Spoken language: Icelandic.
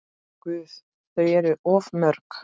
Guð, þau eru of mörg.